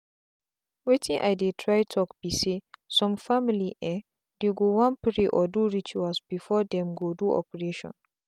wetin i dey try talk be saysome family en dey go wan pray or do rituals before them go do operation.